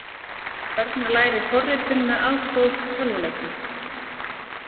Börn læri forritun með aðstoð tölvuleikja